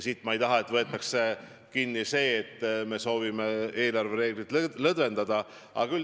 Aga ma ei taha, et siit võetaks nüüd välja sõnum, nagu me sooviksime eelarvereegleid lõdvendada.